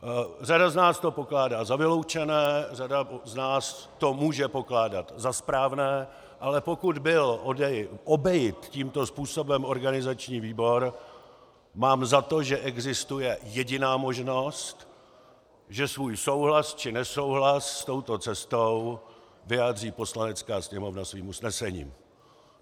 Řada z nás to pokládá za vyloučené, řada z nás to může pokládat za správné, ale pokud byl obejit tímto způsobem organizační výbor, mám za to, že existuje jediná možnost, že svůj souhlas či nesouhlas s touto cestou vyjádří Poslanecká sněmovna svým usnesením.